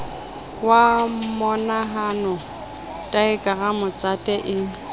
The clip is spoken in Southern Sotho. wa monahano daekramo tjhate e